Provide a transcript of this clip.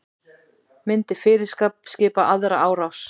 Myndi fyrirskipa aðra árás